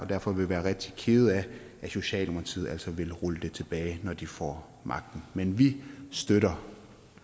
derfor vil være rigtig kede af at socialdemokratiet altså vil rulle det tilbage når de får magten men vi støtter